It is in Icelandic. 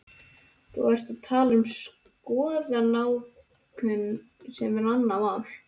Þú ert að tala um skoðanakúgun sem er annað mál.